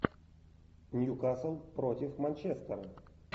ньюкасл против манчестера